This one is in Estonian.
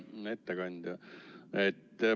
Hea ettekandja!